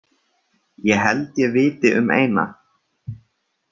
Ég held ég viti um eina.